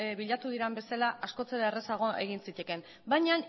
bilatu diren bezala askoz errazago egin zitekeen baina